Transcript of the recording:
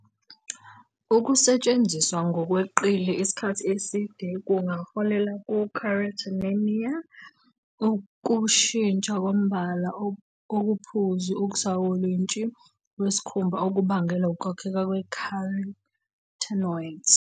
Ukusetshenziswa ngokweqile isikhathi eside kungaholela ku- carotenemia, ukushintsha kombala okuphuzi okusawolintshi kwesikhumba okubangelwe ukwakheka kwe-carotenoids.